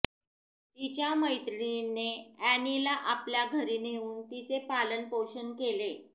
तिच्या मैत्रिणीने अॅनीला आपल्या घरी नेऊन तिचे पालनपोषण केले